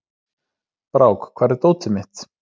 Brák, hvar er dótið mitt?